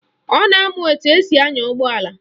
Ọ na-amụ etu esi anya ụgbọala